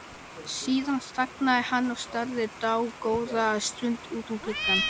Síðan þagnaði hann og starði dágóða stund út um gluggann.